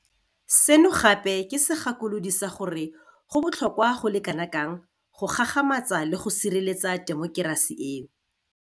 Seno gape ke segakolodi sa gore go botlhokwa go le kanakang go gagamatsa le go sireletsa temokerasi eo.